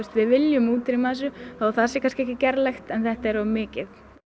við viljum útrýma þessu þó það sé kannski ekki gerlegt en þetta er of mikið